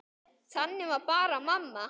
Þannig var bara mamma.